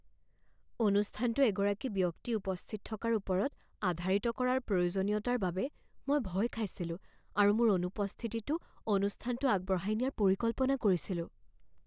অনুষ্ঠানটো এগৰাকী ব্যক্তি উপস্থিত থকাৰ ওপৰত আধাৰিত কৰাৰ প্ৰয়োজনীয়তাৰ বাবে মই ভয় খাইছিলোঁ আৰু মোৰ অনুপস্থিতিতো অনুষ্ঠানটো আগবঢ়াই নিয়াৰ পৰিকল্পনা কৰিছিলোঁ।